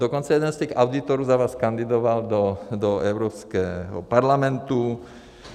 Dokonce jeden z těch auditorů za vás kandidoval do Evropského parlamentu.